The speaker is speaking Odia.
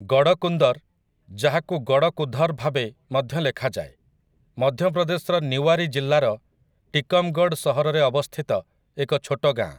ଗଡ଼ କୁନ୍ଦର୍, ଯାହାକୁ ଗଡ଼କୁଧର୍ ଭାବେ ମଧ୍ୟ ଲେଖାଯାଏ, ମଧ୍ୟ ପ୍ରଦେଶର ନିୱାରୀ ଜିଲ୍ଲାର ଟିକମ୍‌ଗଡ଼୍ ସହରରେ ଅବସ୍ଥିତ ଏକ ଛୋଟ ଗାଁ ।